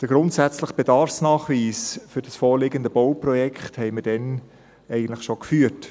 Den grundsätzlichen Bedarfsnachweis für das vorliegende Bauprojekt haben wir damals eigentlich schon geführt.